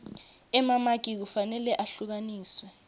emamaki kufanele ehlukaniswe